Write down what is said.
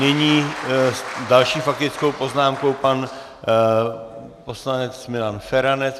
Nyní s další faktickou poznámkou pan poslanec Milan Feranec.